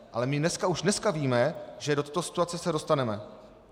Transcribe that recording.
Ale my už dneska víme, že do této situace se dostaneme.